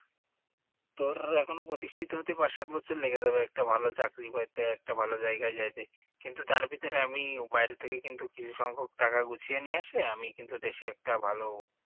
তোর এখনও প্রতিষ্ঠিত হতে পাঁচ সাত বছর লেগে যাবে ভালো একটা চাকরি পাইতে একটা ভালো জায়গায় যাইতে কিন্তু তার ভিতরে আমি বাইরে থেকে কিন্তু সংখক টাকা গুছিয়ে নিয়ে আসলে আমি কিন্তু দেশে একটা ভালো